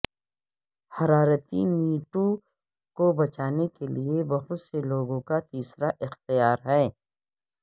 حرارتی میٹوں کو بچانے کے لئے بہت سے لوگوں کا تیسرا اختیار ہے